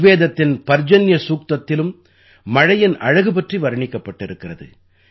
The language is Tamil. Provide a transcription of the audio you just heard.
ரிக்வேதத்தின் பர்ஜன்ய சூக்தத்திலும் மழையின் அழகு பற்றி வர்ணிக்கப்பட்டிருக்கிறது